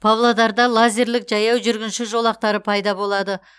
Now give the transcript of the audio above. павлодарда лазерлік жаяу жүргінші жолақтары пайда болады